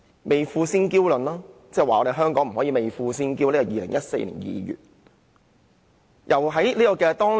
未富先嬌論，他指香港人不可以未富先嬌，這是2014年2月的言論。